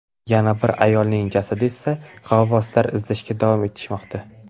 Yana bir ayolning jasadini esa g‘avvoslar izlashda davom etishmoqda.